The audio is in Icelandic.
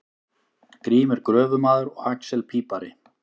Grímur gröfumaður og axel pípari.